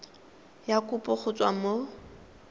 ya kopo go tswa mo